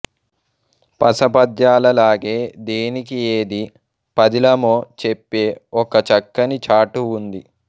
పస పద్యాలలాగే దేనికి ఏది పదిలమో చెప్పే ఒక చక్కని చాటువు ఉంది